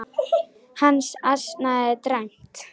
Hann ansaði dræmt.